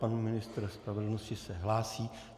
Pan ministr spravedlnosti se hlásí.